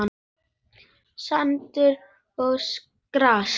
Sandur og gras.